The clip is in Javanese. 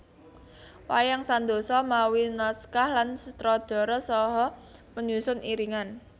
Wayang Sandosa mawi naskah lan sutradara saha penyusun iringan